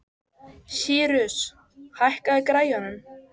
Sírus, hækkaðu í græjunum.